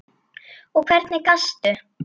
Og hvernig gastu.?